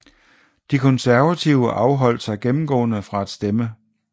De konservative afholdt sig gennemgående fra at stemme